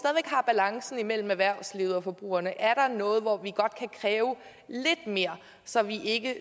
er imellem erhvervslivet og forbrugerne er der noget sted hvor vi godt kan kræve lidt mere så vi ikke